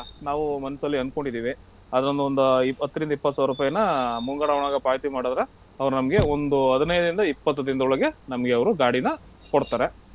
ನಾವು ತಗೋಳಣ ಅಂತ ನಾವು ಮನ್ಸಲ್ಲಿ ಅಂದ್ಕೊಂಡಿದೀವಿ ಅದನೊಂದ ಇ~ ಹತ್ತ್ರಿಂದ ಇಪ್ಪತ್ತ್ ಸಾವ್ರುಪೈನ ಮುಂಗಡ ಹಣವನ್ನು ಪಾವತಿ ಮಾಡುದ್ರೆ ಅವ್ರ್ ನಮಗೆ ಒಂದ್ ಹದಿನೈದ್ರಿಂದ ಇಪ್ಪತ್ ದಿನ್ದೊಳಗೆ ನಮ್ಗೆ ಅವ್ರು ಗಾಡಿನ ಕೊಡ್ತಾರೆ.